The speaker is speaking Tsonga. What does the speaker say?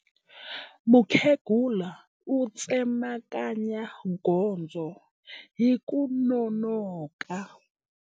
Mukhegula u tsemakanya gondzo hi ku nonoka.